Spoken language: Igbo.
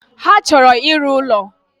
Ha chọrọ ịrụ ụlo